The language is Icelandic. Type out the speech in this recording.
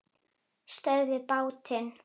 STÖÐVIÐ BÁTINN!